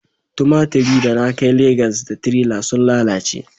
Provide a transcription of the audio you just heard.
tumatiri da na kai Legas da tirela sun lalace